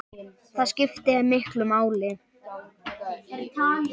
Það skiptir miklu máli.